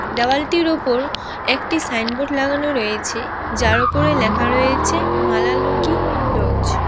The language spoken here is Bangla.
দেওয়ালটির ওপর একটি সাইনবোর্ড লাগানো রয়েছে যার ওপরে লেখা রয়েছে মালালুঙ্গি লজ ।